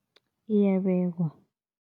Iyabekwa.